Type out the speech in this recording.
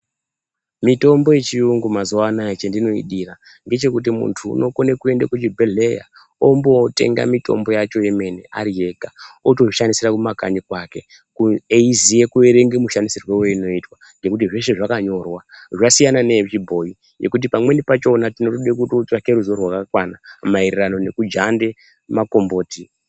Mitombo yechiyungu mazuwa anoa chandinoidira ngechekuti ,muntu unokone kuende kuChibhelhleya ombotenga mitombo yacho yemene ariega, otozvishandisira kumakanyi kwake eiziya kuerenge mushandisirwo weinoitwa nekuti zveshe zvakanyora ,zvasiyana neyechibhoyi yekuti pamweni pachona tinode kutotsvake ruziwo rwakakwana maererano nekujande makomboti.